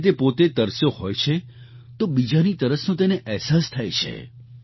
જ્યારે તે પોતે તરસ્યો હોય તો બીજાની તરસનો તેને અહેસાસ થાય છે